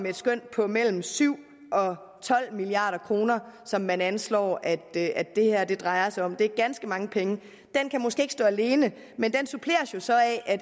et skøn på mellem syv og tolv milliard kr som man anslår at det at det her drejer sig om det er ganske mange penge den kan måske ikke stå alene men den suppleres så af at